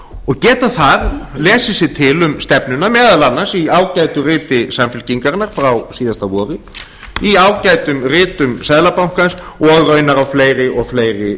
og geta þar lesið sér til um stefnuna meðal annars í ágætu riti samfylkingarinnar frá síðasta vori í ágætum ritum seðlabankans og raunar á fleiri og fleiri